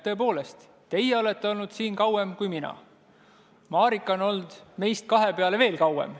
Tõepoolest, teie olete olnud siin kauem kui mina ja Marika on olnud siin kauem kui meie kahekesi kokku.